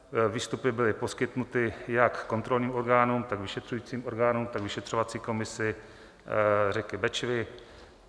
Výstupy byly poskytnuty jak kontrolním orgánům, tak vyšetřujícím orgánům, tak vyšetřovací komisi řeky Bečvy.